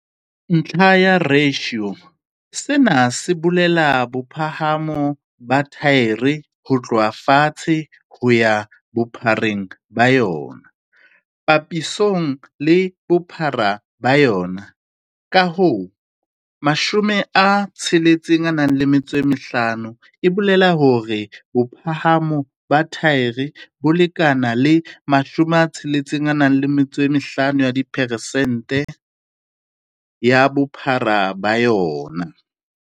Ntlha ya ratio - Sena se bolela bophahamo ba thaere ho tloha fatshe ho ya bophareng ba yona papisong le bophara ba yona, ka hoo, 65 e bolela hore bophahamo ba thaere bo lekana le 65 ya diperesente ya bophara ba yona.